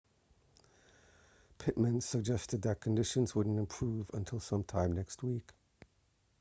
pittman suggested that conditions wouldn't improve until sometime next week